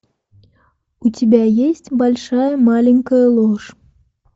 у тебя есть большая маленькая ложь